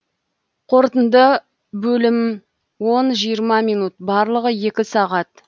қорытынды бөлім он жиырма минут барлығы екі сағат